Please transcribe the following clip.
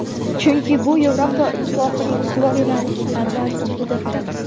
chunki bu Yevropa Ittifoqining ustuvor yo‘nalishlariga ziddir.